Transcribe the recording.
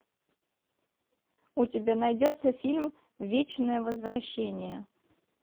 у тебя найдется фильм вечное возвращение